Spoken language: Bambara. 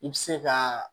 I bɛ se ka